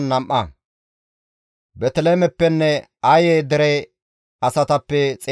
Looda, Hadideninne Oonno dere asatappe 721;